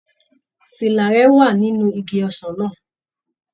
Fìlà rẹ wà nínú igi ọsàn náà.